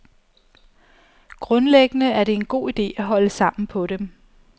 Grundlæggende er det en god ide at holde sammen på dem.